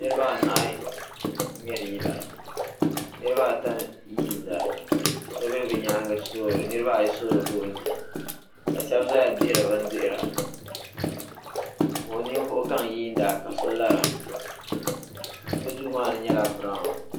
Niriba anahi ŋmɛri yila niriba ata yiina niriba ayi soori goonje ka shɛba zaya dihiri bindihira ninvuɣ'gaŋ yiina ka so larabɛ duu maa ni nyɛla biranwu